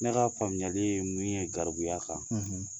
Ne ka faamuyali ye min ye garibuya kan,